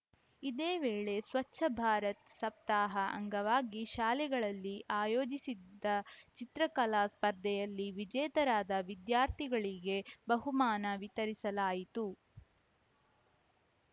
ಇದೇ ವೇಳೆ ಸ್ವಚ್ಛ ಭಾರತ್‌ ಸಪ್ತಾಹ ಅಂಗವಾಗಿ ಶಾಲೆಗಳಲ್ಲಿ ಆಯೋಜಿಸಿದ್ದ ಚಿತ್ರಕಲಾ ಸ್ಪರ್ಧೆಯಲ್ಲಿ ವಿಜೇತರಾದ ವಿದ್ಯಾರ್ಥಿಗಳಿಗೆ ಬಹುಮಾನ ವಿತರಿಸಲಾಯಿತು